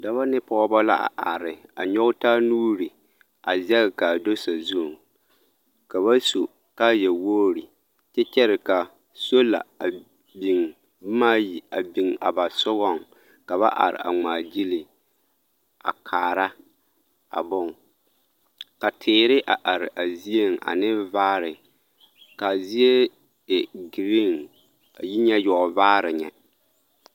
Dɔbɔ ne pɔɔbɔ la a are a nyɔge taa nuuri a zɛge k'a do sazuŋ ka ba su kaaya wogiri kyɛ kyɛre ka sola a biŋ bomaa ayi a biŋ a ba sogɔŋ ka ba are a ŋmaa gyili a kaara a boŋ ka teere a are a zieŋ a ne vaare k'a zie e giriin a yi nyɛ yɔɔvaare nyɛ.